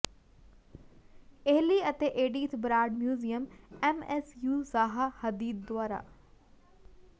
Eli ਅਤੇ Edythe Broad museum MSU Zaha Hadid ਦੁਆਰਾ